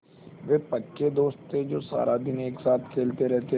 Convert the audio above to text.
वे पक्के दोस्त थे जो सारा दिन एक साथ खेलते रहते थे